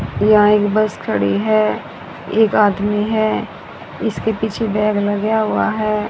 यहां एक बस खड़ी है एक आदमी है इसके पीछे बैग लगा हुआ है।